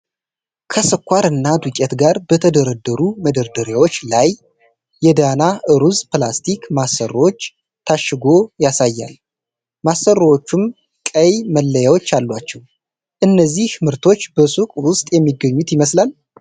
ከስኳር እና ዱቄት ጋር በተደረደሩ መደርደሪያዎች ላይ የዳና ሩዝ በፕላስቲክ ማሰሮዎች ታሽጎ ያሳያል፤ ማሰሮዎቹም ቀይ መለያዎች አሏቸው። እነዚህ ምርቶች በሱቅ ውስጥ የሚገኙ ይመስላል?